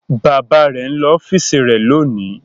Bàbá rẹ̀ ń lọ ọ́fíísì rẹ̀ lónìí.